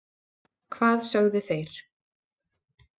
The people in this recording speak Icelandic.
hvað sögðu þeir?